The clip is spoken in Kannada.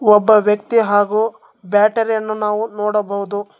ಒಬ್ಬ ವ್ಯಕ್ತಿ ಹಾಗು ಬ್ಯಾಟರಿಯನ್ನು ನಾವು ನೋಡಬಹುದು.